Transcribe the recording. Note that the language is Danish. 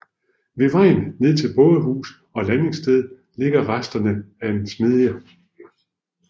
Ved vejen ned til bådehus og landingssted ligger resterne af en smedje